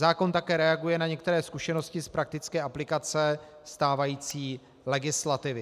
Zákon také reaguje na některé zkušenosti z praktické aplikace stávající legislativy.